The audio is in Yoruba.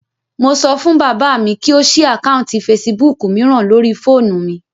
Mo sọ fún bàbá mi kí ó ṣí àkáùntì fesibúùkù mìíràn lórii fóònù mi